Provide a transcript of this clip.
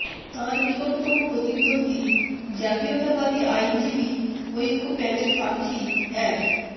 তাঁর নিকটতম প্রতিদ্বন্দ্বী জাতীয়তাবাদী আইনজীবী ঐক্য প্যানেল প্রার্থী এ্যাড